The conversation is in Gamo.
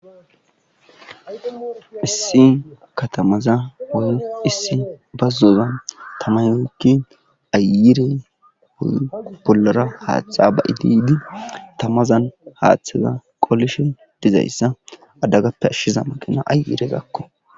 issi katamaza woy issi bazzoza tamay mikki ayirey bollara haaththa ba ididi tamazan haaththaza qoalishon dizayssa adagappe ashshiza maqina ayirezakko